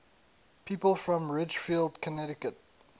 people from ridgefield connecticut